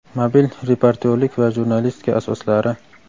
mobil reportyorlik va jurnalistika asoslari;.